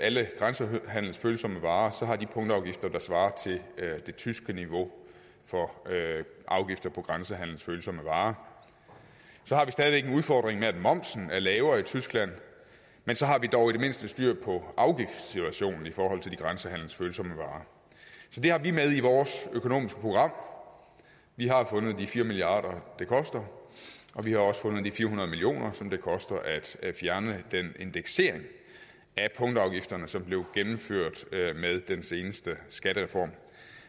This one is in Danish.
alle grænsehandelsfølsomme varer have punktafgifter der svarer til det tyske niveau for afgifter på grænsehandelsfølsomme varer så har vi stadig væk en udfordring med at momsen er lavere i tyskland men så har vi dog i det mindste styr på afgiftssituationen i forhold til de grænsehandelsfølsomme varer så det har vi med i vores økonomiske program vi har fundet de fire milliard kr det koster og vi har også fundet de fire hundrede million kr som det koster at fjerne den indeksering af punktafgifterne som blev gennemført med den seneste skattereform